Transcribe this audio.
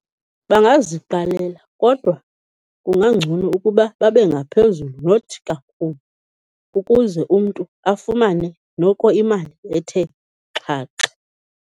Bangaziqalela kodwa kungangcono ukuba babe ngaphezulu not kakhulu ukuze umntu afumane noko imali ethe xhaxha.